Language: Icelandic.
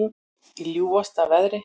Í ljúfasta veðri